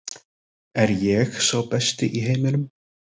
Er ég sá besti í heiminum?